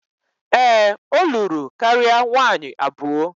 Ee, o luru karia nwaanyi abuo